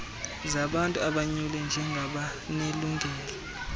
zabantu abonyulwe njengabanelungelo